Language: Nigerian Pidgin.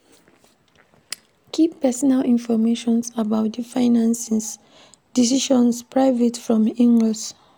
Keep personal information about di finances, decisions private from in-laws